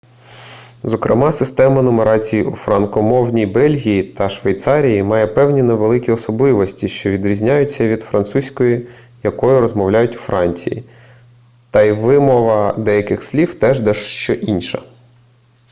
зокрема система нумерації у франкомовній бельгії та швейцарії має певні невеликі особливості що відрізняються від французької якою розмовляють у франції та й вимова деяких слів теж дещо інша